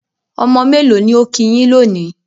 Ọmọ mélò ni ó kí yín lónìí?